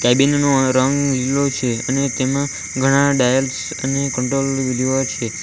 Cabin નો રંગ લીલો છે અને તેમાં ઘણા ડાયલ્સ અને કંટ્રોલ લીવર છે.